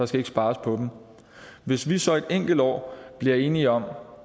skal ikke spares på dem hvis vi så et enkelt år bliver enige om